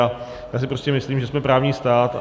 A já si prostě myslím, že jsme právní stát.